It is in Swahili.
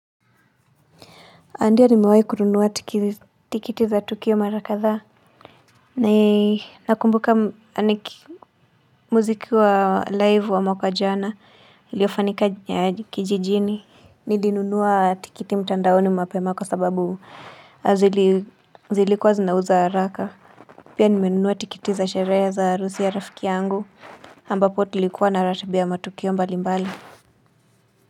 Andia nimewahi kununuwa tikiti za tukio mara kadhaa. Ni nakumbuka ni muziki wa live wa mwaka jana iliyofanyika kijijini. Nilinunuwa tikiti mtandaoni mapema kwa sababu zilikuwa zinauza haraka. Pia nimenunuwa tikiti za sherehe za harusi ya rafiki yangu ambapo tulikuwa na ratiba ya matukio mbali mbali.